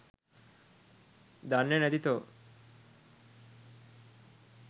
දන්නෙ නැති තෝ